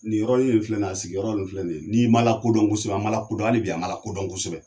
Ni yɔrɔ nin filɛ nin ye, a sigi yɔrɔ nin filɛ nin ye ,n'i ma lakodɔn kosɛbɛ,a ma lakodɔn , hali bi a ma lakodɔn kossɛbɛ.